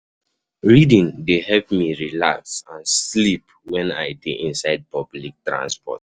Reading dey help me relax and sleep wen I dey inside public transport.